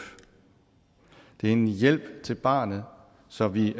det er en hjælp til barnet så vi